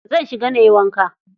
Zan shiga nayi wanka.